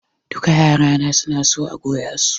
Duka yara na suna son a goya su.